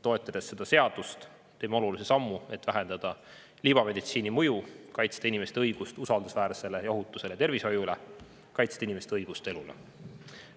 Toetades seda seadust, teeme olulise sammu, et vähendada libameditsiini mõju ning kaitsta inimeste õigust usaldusväärsele ja ohutule tervishoiule, kaitsta inimeste õigust elule.